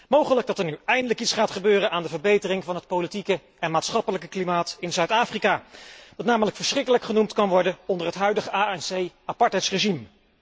Mogelijk dat er nu eindelijk iets gaat gebeuren aan de verbetering van het politieke en maatschappelijke klimaat in Zuid Afrika, wat namelijk verschrikkelijk genoemd kan worden onder het huidige ANC apartheidsregime.